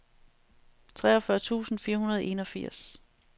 treogfyrre tusind fire hundrede og enogfirs